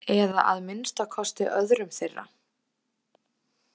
Eða að minnsta kosti öðrum þeirra?